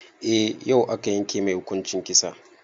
Eh, yau aka yanke mai hukuncin kisa.